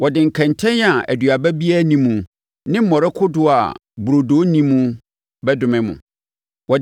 Wɔde nkɛntɛn a aduaba biara nni mu ne mmɔre kodoɔ a burodo nni mu bɛdome mo.